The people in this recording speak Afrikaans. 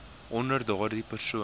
onder daardie persoon